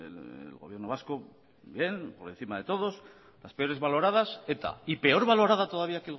el gobierno vasco bien por encima de todos las peores valoradas eta y peor valorada todavía